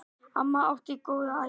Amma átti góða ævi.